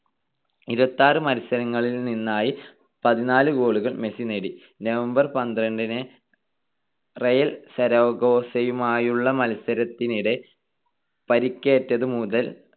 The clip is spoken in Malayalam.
ഇരുപത്തിയാറ് മത്സരങ്ങളിൽ നിന്നായി പതിനാല് goal കൾ മെസ്സി നേടി. November പന്ത്രണ്ടിന് റയൽ സരഗോസയുമായുള്ള മത്സരത്തിനിടെ പരിക്കേറ്റതു മുതൽ